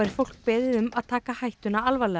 fólk beðið að taka hættuna alvarlega